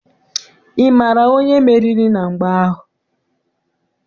Ị maara onye meriri na mgba ahụ?